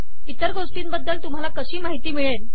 इतर गोष्टींबद्दल तुम्हाला कशी माहिती मिळेल